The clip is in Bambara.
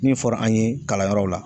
Min fo fɔra an ye kalanyɔrɔ la